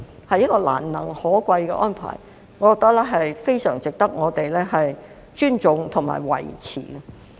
這是一項難能可貴的安排，我覺得非常值得我們尊重和維持。